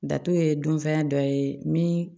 Datugu ye dunfɛn dɔ ye min